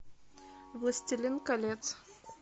властелин колец